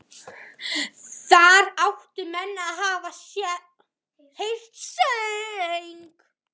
Þar áttu menn að hafa heyrt söng.